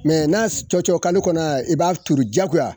n'a cɔcɔkalo kɔnɔna na i b'a turu jakoya